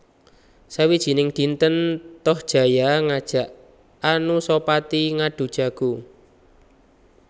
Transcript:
Sawijining dinten Tohjaya ngajak Anusapati ngadhu jago